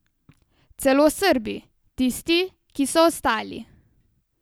Celo Srbi, tisti, ki so ostali.